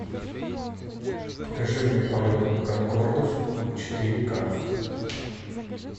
покажи мне полет конкордов четыре ка